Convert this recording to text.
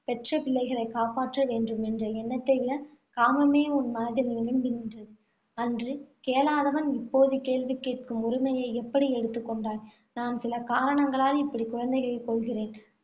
பெற்ற பிள்ளைகளைக் காப்பாற்ற வேண்டும் என்ற எண்ணத்தை விட காமமே உன் மனதில் நிரம்பி நின்றது. அன்று கேளாதவன் இப்போது கேள்வி கேட்கும் உரிமையை எப்படி எடுத்துக் கொண்டாய். நான் சில காரணங்களால் இப்படி குழந்தைகளைக் கொல்கிறேன்.